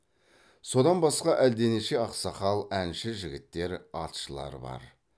содан басқа әлденеше ақсақал әнші жігіттер атшылар бар